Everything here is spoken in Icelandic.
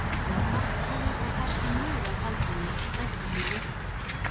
Hann var barngóður og gaf sig mjög að Baldvini og fræddi hann um Ísland.